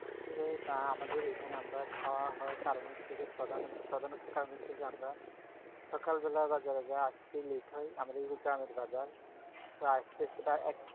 আসলেও আমাদের এইখানে আমরা খাওয়া হয় কারণ হচ্ছে যে প্রধান হচ্ছে কারণ হচ্ছে যে আমরা সকালবেলা বা যারা যারা আসতে late হয়, আমাদের যে গ্রামের বাজার। প্রায় আসতে আসতে প্রায় এক